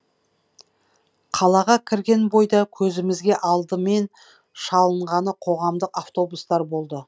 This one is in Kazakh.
қалаға кірген бойда көзімізге алдымен шалынғаны қоғамдық автобустар болды